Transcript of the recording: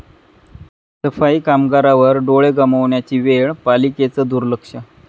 सफाई कामगारावर डोळे गमावण्याची वेळ, पालिकेचं दुर्लक्ष